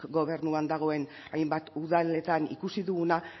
gobernuan dagoen hainbat udaletan ikusi duguna